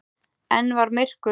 Enn var myrkur.